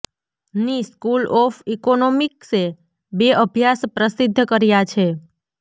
ની school of ઈકોનોમિક્સે બે અભ્યાસ પ્રસિદ્ધ કર્યા છે